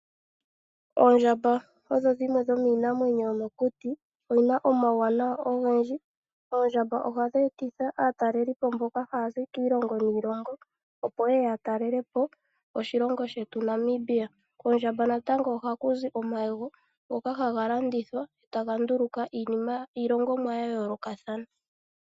Oondjamba odho dhimwe dhomiinamwenyo yomokuti. Odhina omauwanawa ogendji, oondjamba ohadhi etitha aataleli po mboka ya za kiilongo niilongo, opo ye ye ya talele po oshilongo shetu Namibia. Kondjamba natango ohaku zi omayego ngoka haga landithwa etaga nduluka iinima/iilongomwa ya yoolokathana.